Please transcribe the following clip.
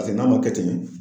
n'a ma kɛ ten